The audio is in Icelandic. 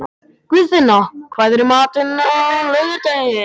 Guðfinna, hvað er í matinn á laugardaginn?